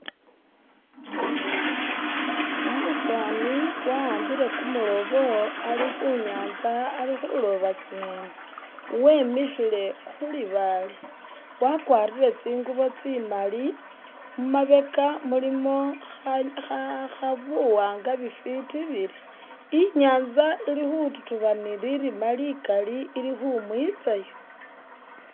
Umusaani wa'ambile kumulobo ali khu nyanza ali khuloba tsinyeni, wemikhile khu libaale wakwarire tsingubo tsi mali, mu mabeka mulimo buwanga bifiti biri, inyanza ili khututuba ni lirima likali ili kwumwitsayo.